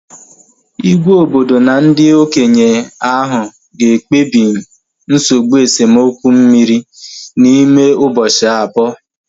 Igwe obodo na ndị okenye ahu ga ekpebi nsogbụ esemokwu mmiri n'ime ụbọchị abụọ